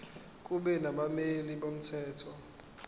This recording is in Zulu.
kube nabameli bomthetho